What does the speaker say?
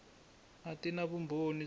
a ti na vumbhoni bya